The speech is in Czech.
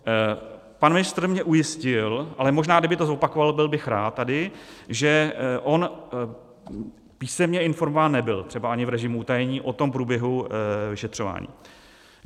Pan ministr mě ujistil, ale možná, kdyby to zopakoval, byl bych rád tady, že on písemně informován nebyl, třeba ani v režimu utajení, o tom průběhu vyšetřování.